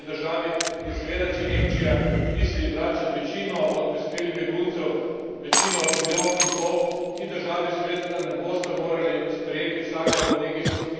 In seveda če Nemčija misli vračati večino od prispelih beguncev, večino od milijon in pol, ti državi seveda ne bosta morali sprejeti vsaka po nekaj sto tisoč beguncev.